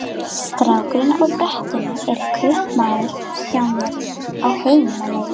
Strákurinn á brettunum er kaupamaður hjá mér, á heimleið.